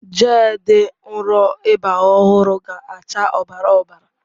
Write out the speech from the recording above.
Gel dị nro ịba ọhụrụ ga-acha ọbara ọbara.